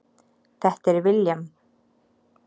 Þetta er William.